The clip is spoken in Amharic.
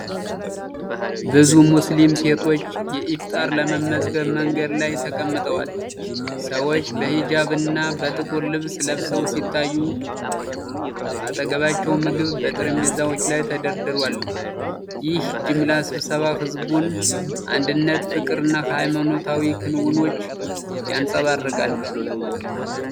ብዙ ሙስሊም ሴቶች ኢፍጣር ለመመገብ በመንገድ ላይ ተቀምጠዋል። ሰዎች በሂጃብና በጥቁር ልብስ ለብሰው ሲታዩ፣ በአጠገባቸው ምግብ በጠረጴዛዎች ላይ ተደርድሯል። ይህ የጅምላ ስብሰባ የህዝቡን አንድነት፣ ፍቅርና የሃይማኖታዊ ክንውኖችን ያንጸባርቃል።